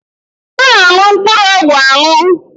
A na-aṅụ mkpụrụ ọgwụ aṅụ